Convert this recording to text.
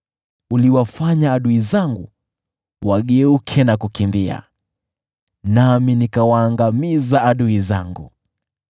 Uliwafanya adui zangu wageuke na kukimbia, nami nikawaangamiza adui zangu.